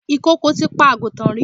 Ìkokò ti pa àgùntàn rí.